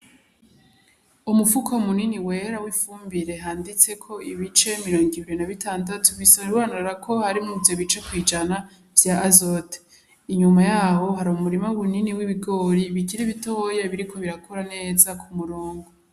Umufuko mini wera wifumbire handitseko ibice mirongo ine na bitandatu bisobanurako harimwo ivyo bice kwijana vya azote inyuma yaho hari umurima munini w'ibigori bikiri bitoyi biriko birakura neza kumurongo.